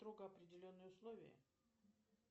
строго определенные условия